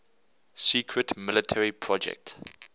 secret military project